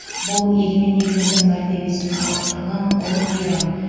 бұл егемен еліміздің мәртебесін арттырған ұлы мейрам